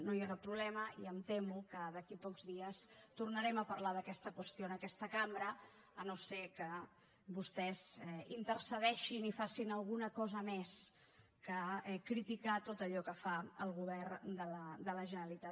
no hi ha cap problema i em temo que d’aquí a pocs dies tornarem a parlar d’aquesta qüestió en aquesta cambra si no és que vostès intercedeixen i fan alguna cosa més que criticar tot allò que fa el govern de la generalitat